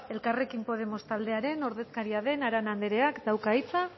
elkarrekin podemos taldearen ordezkaria den arana andereak dauka hitza